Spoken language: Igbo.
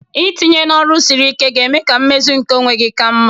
Itinye n'ọrụ siri ike ga-eme ka mmezu nke onwe gị ka mma